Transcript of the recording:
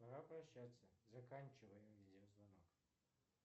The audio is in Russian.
пора прощаться заканчивай видеозвонок